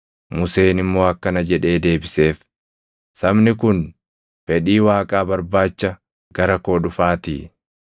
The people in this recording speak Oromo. Museen immoo akkana jedhee deebiseef; “Sabni kun fedhii Waaqaa barbaacha gara koo dhufaatii.